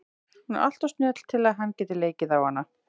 Hún er alltof snjöll til að hann geti leikið á hana.